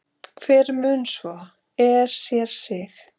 hver mun svo, er sér þig,